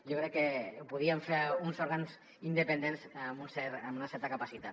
jo crec que ho podríem fer uns òrgans independents amb una certa capacitat